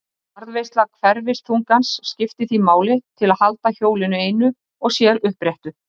Varðveisla hverfiþungans skiptir því máli til að halda hjólinu einu og sér uppréttu.